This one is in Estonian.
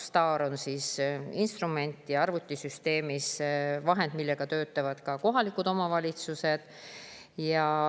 STAR on arvutisüsteemi instrument, vahend, millega töötavad ka kohalikud omavalitsused.